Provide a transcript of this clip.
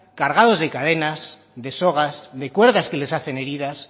cargados de cadenas de sogas de cuerdas que les hacen heridas